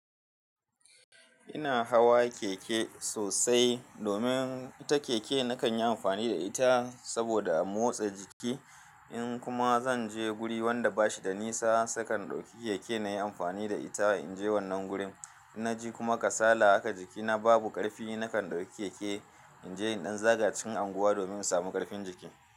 Ina hawa keke sosai domin ita keke na kan yi amfani da ita saboda a motsa jiki in kuma zan je guri wanda bashi da nisa sakan dauki keke nayi amfani da ita in je wannan gurin. In na je kuma kasala haka jikina babu karfi nakan dauki keke in je in ɗan zaga cikin qnguwa domin in samu ƙarfin jiki.